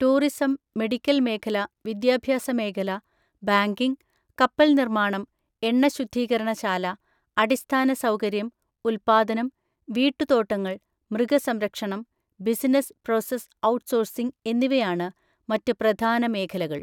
Tourism, medical മേഖല, വിദ്യാഭ്യാസ മേഖല, ബാങ്കിംഗ്, കപ്പൽ നിർമ്മാണം, എണ്ണ ശുദ്ധീകരണ ശാല, അടിസ്ഥാന സൗകര്യം, ഉൽപ്പാദനം, വീട്ടുതോട്ടങ്ങൾ, മൃഗസംരക്ഷണം, ബിസിനസ് പ്രോസസ് ഔട്ട്സോഴ്സിംഗ് എന്നിവയാണ് മറ്റ് പ്രധാന മേഖലകൾ.